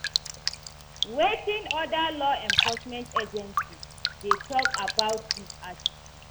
Wetin oda law enforcement agencies dey talk about dis attitude?